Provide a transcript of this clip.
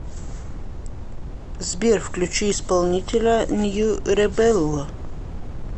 сбер включи исполнителя нью ребелло